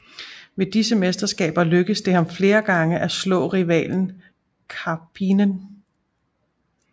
Ved disse mesterskaber lykkedes det ham flere gange at slå rivalen Karppinen